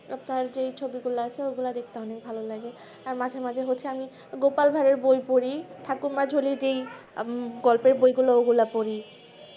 but যেই ছবি গুলা আছে ওগুলা দেখতে অনেক ভালো লাগে আর মাঝে মাঝে হচ্ছে আমি গোপাল ভার এর বই পড়ি ঠাকুমার ঝুলির সেই গল্পের বই গুলো পড়ি